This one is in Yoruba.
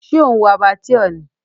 Ṣé ò ń wo Abattoir ni?